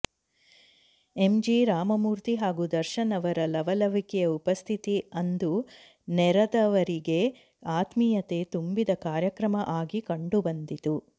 M G Ramamurthy ಹಾಗೂ ದರ್ಶನ್ ಅವರ ಲವಲವಿಕೆಯ ಉಪಸ್ಥಿತಿ ಅಂದು ನೆರದವರಿಗೆ ಆತ್ಮೀಯತೆ ತುಂಬಿದ ಕಾರ್ಯಕ್ರಮ ಆಗಿ ಕಂಡುಬಂದಿತು